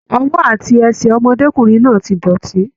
Ọwọ àti ẹsẹ ọmọdékunrin náà ti dọ́tì.